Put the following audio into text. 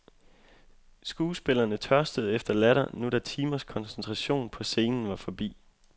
Skuespillerne tørstede efter latter, nu da timers koncentration på scenen var forbi.